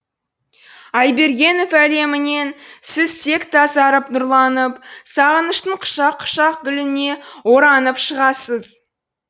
айбергенов әлемінен сіз тек тазарып нұрланып сағыныштың құшақ құшақ гүліне оранып шығасыз